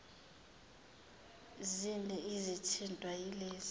zini ezithintwa yilezi